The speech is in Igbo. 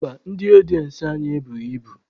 Mba, ndị ọdịensị anyị ebughi ibu.